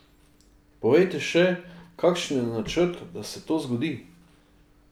Povejte še, kakšen je načrt, da se to zgodi?